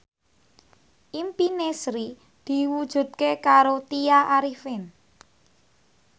impine Sri diwujudke karo Tya Arifin